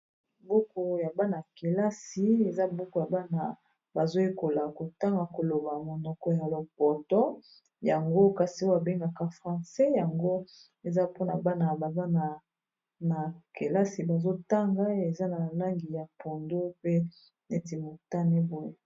Buku ya bana -kelasi eza buku ya bana bazoyekola kotanga koloba monoko ya lopoto, yango kasi oye abengaka francais, yango eza mpona bana bazana na kelasi bazotanga eza na langi ya pondu pe neti motani boye.